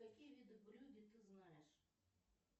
какие виды брюгге ты знаешь